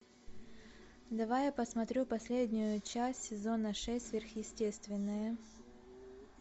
давай я посмотрю последнюю часть сезона шесть сверхъестественное